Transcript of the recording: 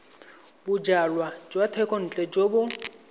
bojalwa jwa thekontle jo bo